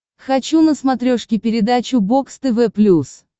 хочу на смотрешке передачу бокс тв плюс